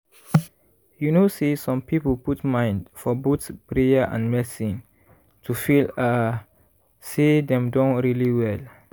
you know say some people put mind for both prayer and medicine to feel ah say dem don really well.